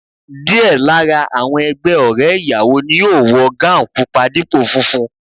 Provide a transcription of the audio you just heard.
Díẹ̀ lára àwọn ẹgbẹ́ ọ̀rẹ́ ìyàwó ni yóò wọ gáùùn pupa dípò funfun